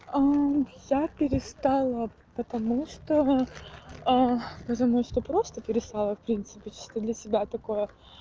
я перестала потому что потому что просто перестала в принципе чисто для себя такое